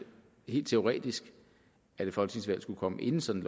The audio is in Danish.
helt teoretisk at et folketingsvalg skulle komme inden sådan